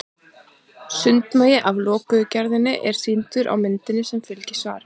Sundmagi af lokuðu gerðinni er sýndur á myndinni sem fylgir svarinu.